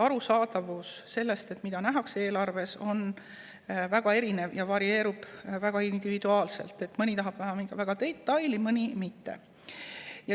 Arusaadavus ja see, mida nähakse eelarves, on väga erinev ja see varieerub individuaalselt – mõni tahab näha detaile, mõni mitte.